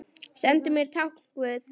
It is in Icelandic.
Sendu mér tákn guð.